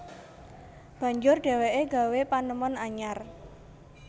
Banjur dheweke gawé panemon anyar